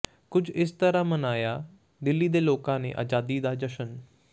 ਕੁੱਝ ਇਸ ਤਰ੍ਹਾਂ ਮਨਾਇਆ ਦਿੱਲੀ ਦੇ ਲੋਕਾਂ ਨੇ ਆਜ਼ਾਦੀ ਦਾ ਜਸ਼ਨ